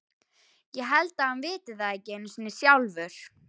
Ég held að hann viti það ekki einu sinni sjálfur.